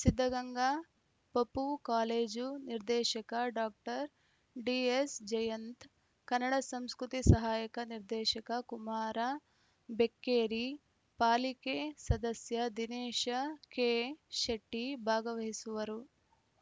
ಸಿದ್ಧಗಂಗಾ ಪಪೂ ಕಾಲೇಜು ನಿರ್ದೇಶಕ doctor D S Jayanth Kannada ಸಂಸ್ಕೃತಿ ಸಹಾಯಕ ನಿರ್ದೇಶಕ ಕುಮಾರ ಬೆಕ್ಕೇರಿ ಪಾಲಿಕೆ ಸದಸ್ಯ ದಿನೇಶ ಕೆ ಶೆಟ್ಟಿಭಾಗವಹಿಸುವರು